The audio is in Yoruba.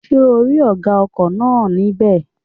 Ṣé ò rí ọ̀gá ọkọ̀ náà ní bẹ̀?